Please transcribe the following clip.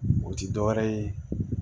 O ti dɔwɛrɛ ye